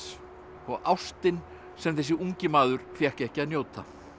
og ástin sem þessi ungi maður fékk ekki að njóta